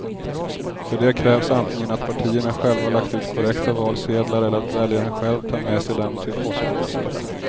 För det krävs antingen att partierna själva lagt ut korrekta valsedlar eller att väljaren själv tar med sig dem till postkontoret.